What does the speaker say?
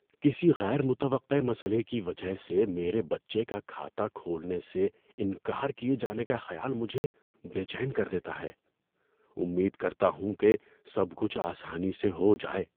کسی غیر متوقع مسئلے کی وجہ سے میرے بچے کا کھاتہ کھولنے سے انکار کیے جانے کا خیال مجھے بے چین کر دیتا ہے، امید کرتا ہوں کہ سب کچھ آسانی سے ہو جائے۔